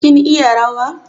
Kin iya rawa?